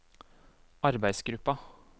arbeidsgruppa